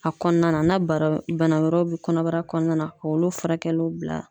A kɔnɔna na na bara bana wɛrɛw bɛ kɔnɔbara kɔnɔna na k'olu furakɛliw bila